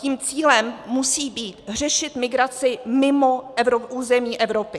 Tím cílem musí být řešit migraci mimo území Evropy.